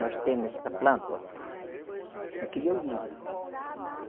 Nós temos essa planta, ó. Aquele é o lírio.